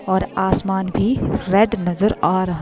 और आसमान भी रेड नज़र आ रहा --